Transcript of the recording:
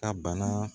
Ka bana